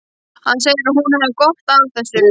Hann segir að hún hafi gott af þessu.